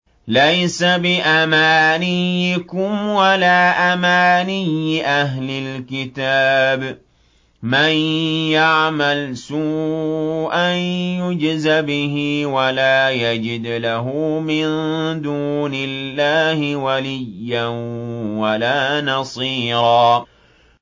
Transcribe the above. لَّيْسَ بِأَمَانِيِّكُمْ وَلَا أَمَانِيِّ أَهْلِ الْكِتَابِ ۗ مَن يَعْمَلْ سُوءًا يُجْزَ بِهِ وَلَا يَجِدْ لَهُ مِن دُونِ اللَّهِ وَلِيًّا وَلَا نَصِيرًا